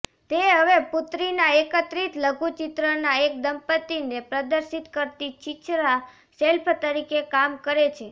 તે હવે પુત્રીના એકત્રિત લઘુચિત્રના એક દંપતિને પ્રદર્શિત કરતી છીછરા શેલ્ફ તરીકે કામ કરે છે